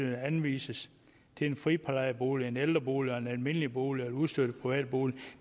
er anvist til en friplejebolig en ældrebolig en almindelig bolig eller en ustøttet privatbolig